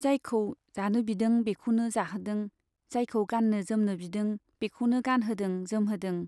जायखौ जानो बिदों बेखौनो जाहोदों, जायखौ गाननो जोमनो बिदों बेखौनो गानहोदों जोमहोदों।